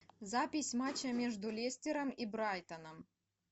запись матча между лестером и брайтоном